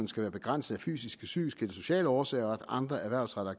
skal være begrænset af fysiske psykiske eller sociale årsager og at andre erhvervsrettede